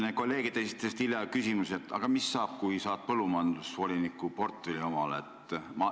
Siin kolleegid esitasid hiljaaegu küsimuse, mis saab siis, kui sulle antakse põllumajandusvoliniku portfell.